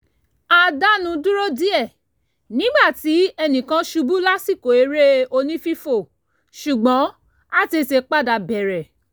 a dánu dúró díẹ̀ nígbà tí ẹnìkan ṣubú lásìkò eré onífífò ṣùgbọ́n a tètè padà bẹ̀rẹ̀